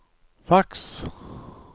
faks